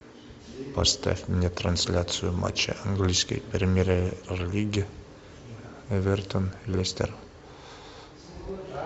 поставь мне трансляцию матча английской премьер лиги эвертон лестер